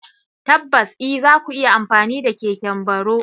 Tabbas e! za ku iya amfani da keken baro.